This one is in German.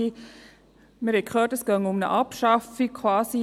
Wir haben gehört, dass es quasi um eine Abschaffung gehe.